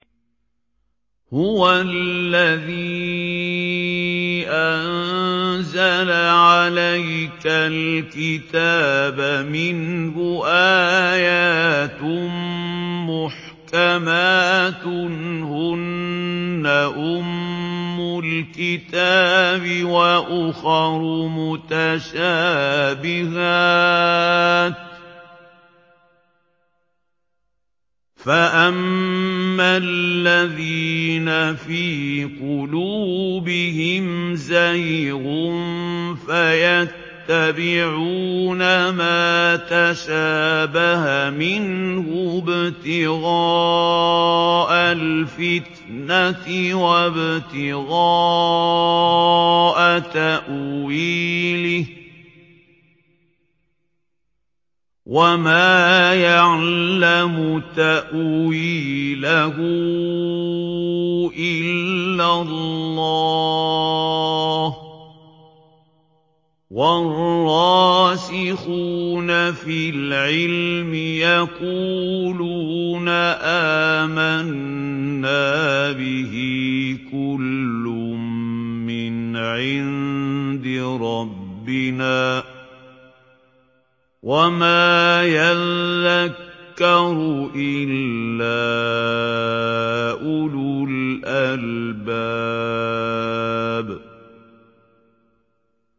هُوَ الَّذِي أَنزَلَ عَلَيْكَ الْكِتَابَ مِنْهُ آيَاتٌ مُّحْكَمَاتٌ هُنَّ أُمُّ الْكِتَابِ وَأُخَرُ مُتَشَابِهَاتٌ ۖ فَأَمَّا الَّذِينَ فِي قُلُوبِهِمْ زَيْغٌ فَيَتَّبِعُونَ مَا تَشَابَهَ مِنْهُ ابْتِغَاءَ الْفِتْنَةِ وَابْتِغَاءَ تَأْوِيلِهِ ۗ وَمَا يَعْلَمُ تَأْوِيلَهُ إِلَّا اللَّهُ ۗ وَالرَّاسِخُونَ فِي الْعِلْمِ يَقُولُونَ آمَنَّا بِهِ كُلٌّ مِّنْ عِندِ رَبِّنَا ۗ وَمَا يَذَّكَّرُ إِلَّا أُولُو الْأَلْبَابِ